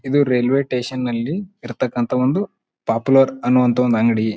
ಇದು railway station ನಲ್ಲಿ ಇರತ್ತಕಂತ ಒಂದು ಪಾಪ್ಯುಲರ್ ಅನ್ನುವಂತ ಒಂದು ಅಂಗಡಿ.